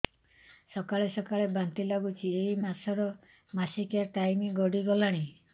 ସକାଳେ ସକାଳେ ବାନ୍ତି ଲାଗୁଚି ଏଇ ମାସ ର ମାସିକିଆ ଟାଇମ ଗଡ଼ି ଗଲାଣି